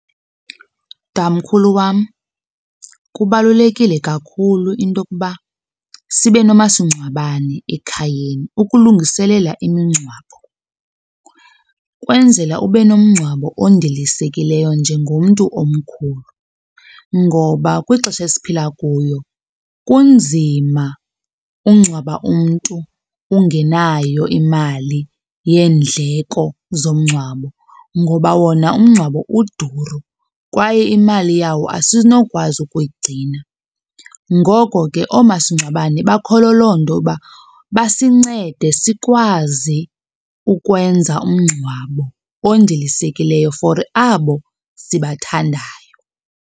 Tamkhulu wam, kubalulekile kakhulu into yokuba sibe nomasingcwabane ekhayeni ukulungiselela imingcwabo. Kwenzela ube nomngcwabo ondilisekileyo njengomntu omkhulu ngoba kwixesha esiphila kuyo kunzima ukungcwaba umntu ungenayo imali yendleko zomngcwabo ngoba wona umngcwabo uduru kwaye imali yawo asinokwazi ukuyigcina. Ngoko ke, oomasingcwabane bakholo loo nto uba basincede sikwazi ukwenza umngcwabo ondilisekileyo for abo sibathandayo.